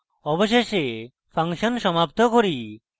অবশেষে আমরা ফাংশন সমাপ্ত করি